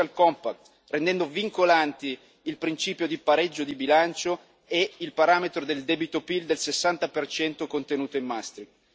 compact rendendo vincolanti il principio di pareggio di bilancio e il parametro del debito PIL del 60 contenuta in Maastricht.